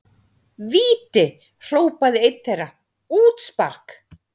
Víti! hrópaði einn þeirra, útspark!